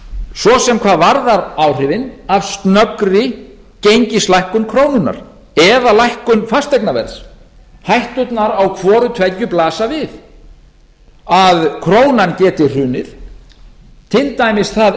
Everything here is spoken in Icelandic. svo sem hvað varðar áhrifin af snöggri gengislækkun krónunnar eða lækkun fasteignaverðs hætturnar á hvoru tveggju blasa við að krónan geti hrunið til dæmis það